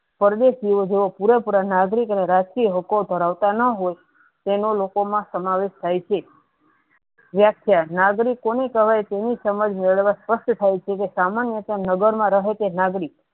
પરદેસ જુવે જોયીયે પુરેપુરા નાગરિક અને રાષ્ટ્રીય હોકો ધરાવતા ના હોય તેનુ લોકો મા સમાવેશ થાય છે વ્યાખ્યા નાગરિકો કોને કેહવાય તેની સમજ મેળવા સ્વસ્થ થાય છે જે સામાન્યતા નગર મા રહે તે નાગરિક